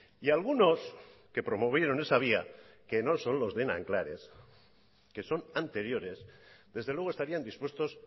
y algunos que promovieron esa vía que no son los de nanclares que son anteriores desde luego estarían dispuestos